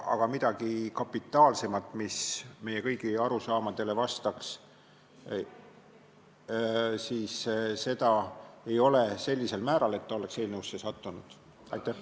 Aga midagi kapitaalsemat, mis meie kõigi arusaamadele vastaks, ei ole sellisel määral olnud, et ta oleks eelnõusse sattunud.